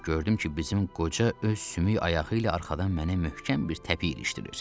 Gördüm ki, bizim qoca öz sümük ayağı ilə arxadan mənə möhkəm bir təpik ilişdirir.